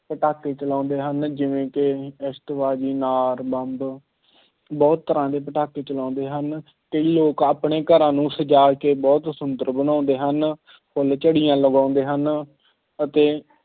ਪਟਾਕੇ ਚਲਾਉਂਦੇ ਹਨ ਜਿਵੇਂ ਕਿ ਆਤਿਸਬਾਜ਼ੀ, ਅਨਾਰ, ਬੰਬ ਬਹੁਤ ਤਰ੍ਹਾਂ ਦੇ ਪਟਾਕੇ ਚਲਾਉਂਦੇ ਹਨ, ਕਈ ਲੋਕ ਆਪਣੇ ਘਰਾਂ ਨੂੰ ਸਜਾ ਕੇ ਬਹੁਤ ਸੁੰਦਰ ਬਣਾਉਂਦੇ ਹਨ, ਫੁੱਲਝੜੀਆਂ ਲਗਾਉਂਦੇ ਹਨ ਅਤੇ